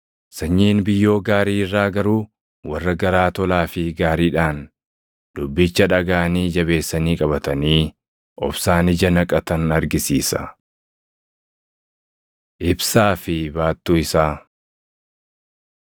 Sanyiin biyyoo gaarii irraa garuu warra garaa tolaa fi gaariidhaan dubbicha dhagaʼanii jabeessanii qabatanii obsaan ija naqatan argisiisa. Ibsaa fi Baattuu Isaa